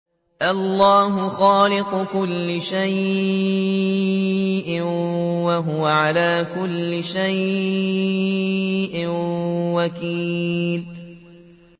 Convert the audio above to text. اللَّهُ خَالِقُ كُلِّ شَيْءٍ ۖ وَهُوَ عَلَىٰ كُلِّ شَيْءٍ وَكِيلٌ